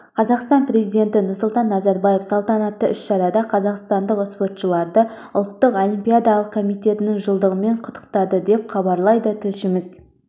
қазақстан президенті нұрсұлтан назарбаев салтанатты іс-шарада қазақстандық спортшыларды ұлттық олимпиадалық комитетінің жылдығымен құттықтады деп хабарлайды тілшісі